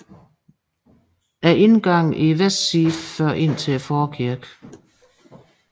Indgangen i vestsiden fører indtil forkirken